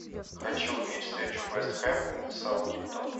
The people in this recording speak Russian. хочу увидеть встречу вест хэм и саутгемптон